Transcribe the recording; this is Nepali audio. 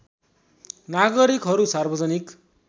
नागरिकहरू सार्वजनिक